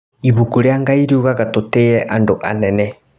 Ibuku rĩa Ngai riugaga tũtĩye andũ anene.